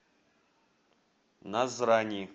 назрани